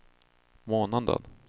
månaden